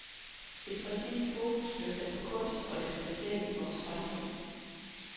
Et præcist fokus blev sat på kunst og dens placering i vores samfund.